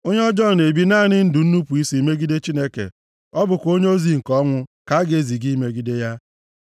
Onye ọjọọ na-ebi naanị ndụ nnupu isi + 17:11 Ya bụ, omume megidere iwu ya megide Chineke. Ọ bụkwa onyeozi nke ọnwụ + 17:11 Ya bụ, onyeozi na-adịghị eme obi ebere. ka a ga-eziga imegide ya.